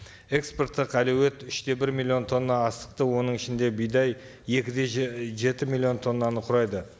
экспорттық әлеует үш те бір миллион тонна астықты оның ішінде бидай екі де жеті миллион тоннаны құрайды